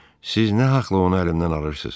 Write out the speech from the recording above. Siz nə haqla onu əlimdən alırsız?